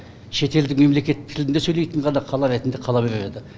шетелдік мемлекет тілінде сөйлейтін ғана қала ретінде қала берер еді